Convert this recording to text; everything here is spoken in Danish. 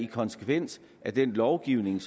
konsekvens af den lovgivning